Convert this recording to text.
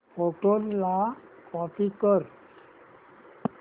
photos ला copy कर